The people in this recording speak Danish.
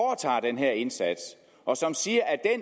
den her indsats og som siger at